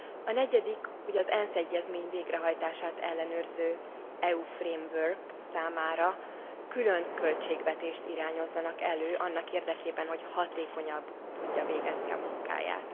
A negyedik, hogy az ENSZ egyezmény végrehajtását ellenőrző uniós keret számára külön költségvetést irányozzanak elő annak érdekében, hogy hatékonyan tudja végezni a munkáját.